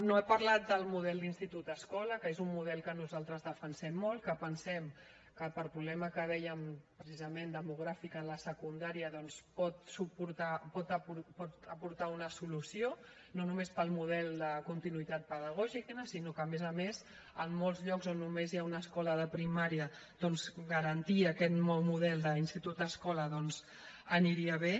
no ha parlat del model d’institut escola que és un model que nosaltres defensem molt que pensem que pel problema que dèiem precisament demogràfic en la secundària doncs pot aportar una solució no només pel model de continuïtat pedagògica sinó que a més a més en molts llocs on només hi ha una escola de primària doncs garantir aquest nou model d’institut escola aniria bé